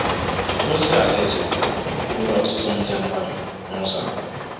Ozi Alaeze eruola ọtụtụ nde mmadụ n’ụzọ a.